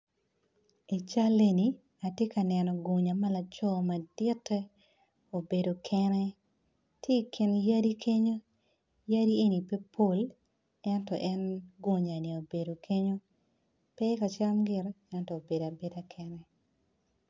I cal eni atye ka neno gunya malaco madite obedo kene, tye ikin yadi kenyo yadi eni pe pol ento en gunya ni obedo kenyo pe kacam gite ento obedo abeda kenyo